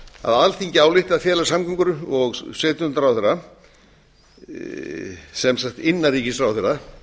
að alþingi álykti að fela samgöngu og sveitarstjórnarráðherra sem sagt innanríkisráðherra að